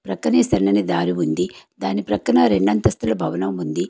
పక్కనే సన్నని దారి ఉంది దాని ప్రక్కన రెండంతస్తుల భవనం ఉంది.